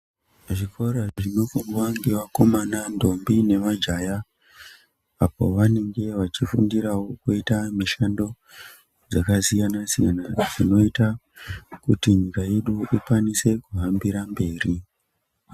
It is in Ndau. Zvikora zvinofundwa ngevakomana ntombi nemajaya apa vanenge vachifundurawo kuita mishando dzakasiyana siyana dzinoita kuti nyika yedu ikwanise kuhambira mberi.